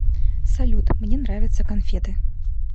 салют мне нравятся конфеты